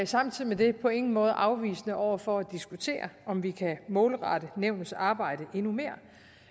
samtidig med det på ingen måde afvisende over for at diskutere om vi kan målrette nævnets arbejde endnu mere